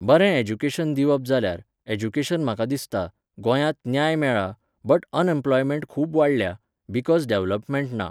बरें ऍज्युकेशन दिवप जाल्यार, एज्युकेशन म्हाका दिसता, गोंयांत न्याय मेळ्ळा, बट अनएम्प्लॉयमँट खूब वाडल्या, बिकॉज डॅव्हलपमेंट ना.